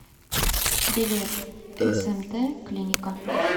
билет смт клиника